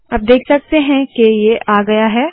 अब देख सकते है के ये आ गया है